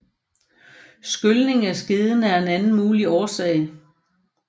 Skylning af skeden er en anden mulig årsag